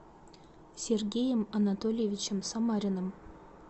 сергеем анатольевичем самариным